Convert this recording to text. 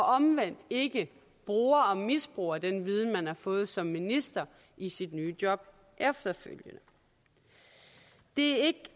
omvendt ikke bruger og misbruger den viden man har fået som minister i sit nye job efterfølgende det